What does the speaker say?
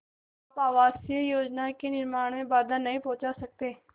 आप आवासीय योजना के निर्माण में बाधा नहीं पहुँचा सकते